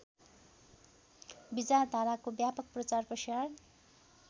विचारधाराको व्यापक प्रचारप्रसार